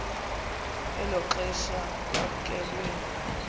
elo xesha kwamkelwe